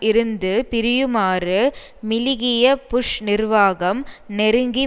இருந்து பிரியுமாறு மிலிகியை புஷ் நிர்வாகம் நெருக்கி